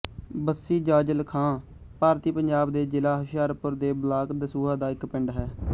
ਬੱਸੀ ਜਾਜਲ ਖਾਂ ਭਾਰਤੀ ਪੰਜਾਬ ਦੇ ਜਿਲ੍ਹਾ ਹੁਸ਼ਿਆਰਪੁਰ ਦੇ ਬਲਾਕ ਦਸੂਹਾ ਦਾ ਇੱਕ ਪਿੰਡ ਹੈ